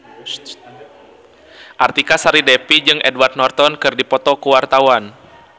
Artika Sari Devi jeung Edward Norton keur dipoto ku wartawan